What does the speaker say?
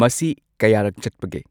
ꯃꯁꯤ ꯀꯌꯥꯔꯛ ꯆꯠꯄꯒꯦ